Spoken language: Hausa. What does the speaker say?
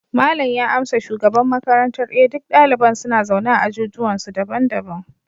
malam ya amsa shugaban makarantar, eh duk daliban suna zaune a ajujuwansu daban-daban